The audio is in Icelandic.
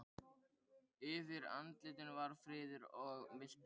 Yfir andlitinu var friður og mildi.